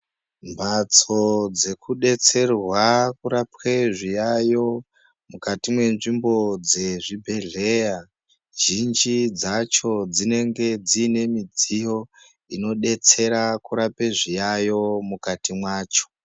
Mbatso dzeku detserwe kurapwe zviyayo mukati me nzvimbo dze zvibhedhleya zhinji dzacho dzinenge dzine midziyo ino detsera kurape zviyayo mukati mwacho.